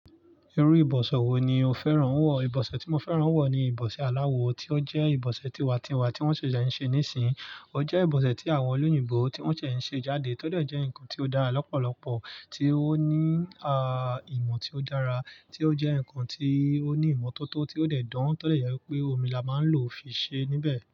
Irú ìbọ̀sè wo ni o fẹ́ràn wọ̀? Ìbọ̀sè tí mo fẹ́ràn wọ̀ ni ìbọ̀sè aláwọ, tí ó jẹ́ ìbọ̀sè tiwa-n-tiwa tí wọ́n ṣèṣè ń ṣe níìsín. Ó jẹ́ ìbọ̀sè tí àwọn olóyìnbó tí wọ́n ṣẹ̀ ń ṣe jáde, tó dẹ́ ǹkan tí ó dára lọ́pọ̀lọpọ̀, tí ó ní, a, ìmọ̀ tí ó dára, tí ó jẹ́ ǹkan tí ó ní ìmọ́tótó tí ó dẹ̀ dán, tó dè jẹ́ wípé omi la máa ń lò fi ṣe níbẹ̀